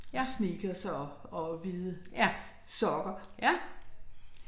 Sneakers og og hvide sokker